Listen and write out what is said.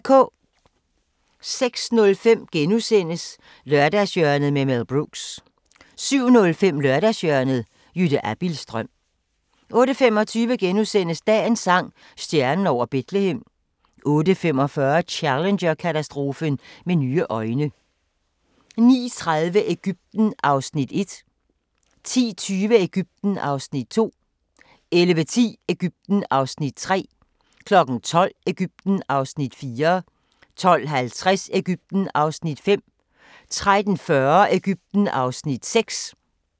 06:05: Lørdagshjørnet med Mel Brooks * 07:05: Lørdagshjørnet – Jytte Abildstrøm 08:25: Dagens sang: Stjernen over Betlehem * 08:45: Challenger-katastrofen med nye øjne 09:30: Egypten (Afs. 1) 10:20: Egypten (Afs. 2) 11:10: Egypten (Afs. 3) 12:00: Egypten (Afs. 4) 12:50: Egypten (Afs. 5) 13:40: Egypten (Afs. 6)